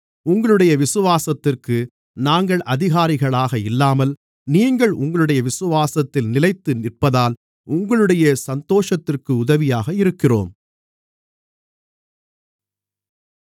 உங்களுடைய விசுவாசத்திற்கு நாங்கள் அதிகாரிகளாக இல்லாமல் நீங்கள் உங்களுடைய விசுவாசத்தில் நிலைத்து நிற்பதால் உங்களுடைய சந்தோஷத்திற்கு உதவியாக இருக்கிறோம்